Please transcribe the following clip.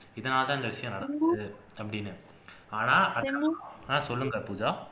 இதனால்தான் இந்த விஷயம் நடந்தது அப்படின்னு ஆனா ஆஹ் சொல்லுங்க அக்கா பூஜா